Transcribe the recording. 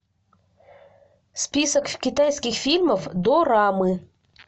список китайских фильмов дорамы